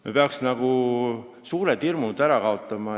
Me peaksime suured hirmud ära kaotama.